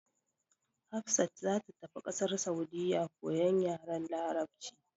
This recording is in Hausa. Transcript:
Hafsat za ta tafi kasar Saudiyya koyan yaren larabci.